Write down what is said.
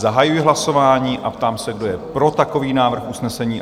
Zahajuji hlasování a ptám se, kdo je pro takový návrh usnesení?